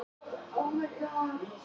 Þau sjá hag sinn í því.